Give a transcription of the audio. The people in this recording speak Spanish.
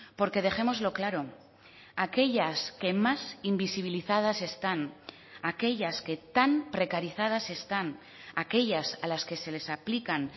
porque dejémoslo claro aquellas que más invisibilizadas están aquellas que tan precarizadas están aquellas a las que se les aplican